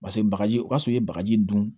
Paseke bagaji o y'a sɔrɔ i ye bagaji dun